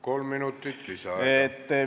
Kolm minutit lisaaega.